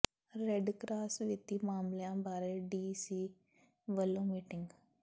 red cross ਵਿੱਤੀ ਮਾਮਲਿਆਂ ਬਾਰੇ ਡੀ ਸੀ ਵੱਲੋਂ ਮੀਟਿੰਗ